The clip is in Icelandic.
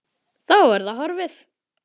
Að það er horfið!